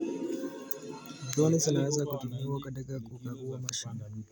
Droni zinaweza kutumiwa katika kukagua mashamba.